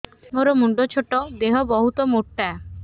ମୋର ମୁଣ୍ଡ ଛୋଟ ଦେହ ବହୁତ ମୋଟା